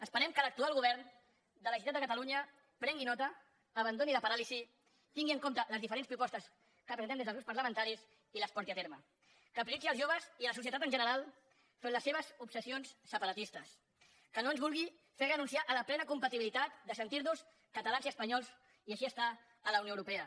esperem que l’actual govern de la generalitat de catalunya en prengui nota abandoni la paràlisi tingui en compte les diferents propostes que presentem des dels grups parlamentaris i les porti a terme que prioritzi els joves i la societat en general enfront de les seves obsessions separatistes que no ens vulgui fer renunciar a la plena compatibilitat de sentir nos catalans i espanyols i així estar a la unió europea